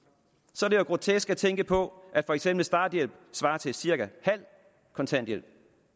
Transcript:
så er det jo grotesk at tænke på at for eksempel starthjælpen svarer til cirka halv kontanthjælp